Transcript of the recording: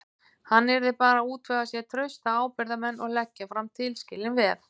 Hann yrði bara að útvega sér trausta ábyrgðarmenn og leggja fram tilskilin veð.